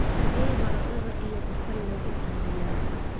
xagee baradhada iyo basal lagu iibiyaa?